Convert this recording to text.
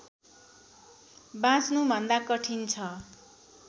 बाँच्नुभन्दा कठिन छ